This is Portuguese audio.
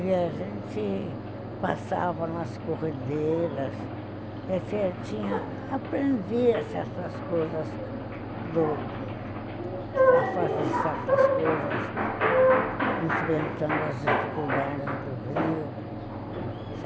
E a gente passava nas corredeiras, aprendia certas coisas, fazia certas coisas, enfrentando as dificuldades do Rio.